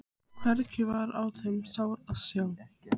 Hvergi var á þeim sár að sjá.